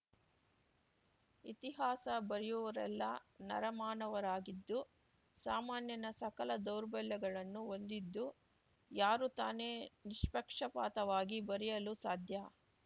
ಇತಿಹಾಸ ಬರೆಯುವವರೆಲ್ಲ ನರಮಾನವರಾಗಿದ್ದು ಸಾಮಾನ್ಯನ ಸಕಲ ದೌರ್ಬಲ್ಯಗಳನ್ನು ಹೊಂದಿದ್ದು ಯಾರು ತಾನೆ ನಿಷ್ಪಕ್ಷಪಾತವಾಗಿ ಬರೆಯಲು ಸಾಧ್ಯ